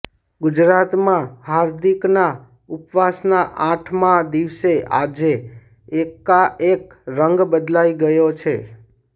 ગુજરાતમાં હાર્દિકના ઉપવાસના અાઠમા દિવસે અાજે અેકાઅેક રંગ બદલાઈ ગયો છે